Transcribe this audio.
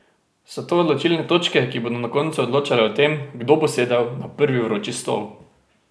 So to odločilne točke, ki bodo na koncu odločale o tem, kdo bo sedel na prvi vroči stol?